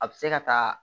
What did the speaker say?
A bɛ se ka taa